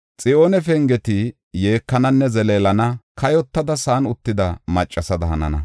Xiyoone pengeti yeekananne zeleelana; kayotada sa7an uttida maccasada hanana.